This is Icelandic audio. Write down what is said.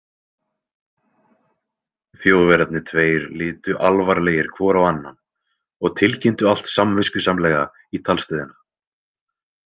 Þjóðverjarnir tveir litu alvarlegir hvor á annan og tilkynntu allt samviskusamlega í talstöðina.